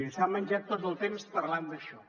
i s’ha menjat tot el temps parlant d’això